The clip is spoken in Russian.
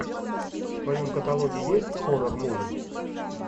в твоем каталоге есть хоррор муви